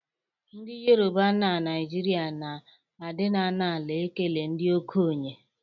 Ndị Yoroba na Naịjirịa na-adịna n'ala ekele ndị okenye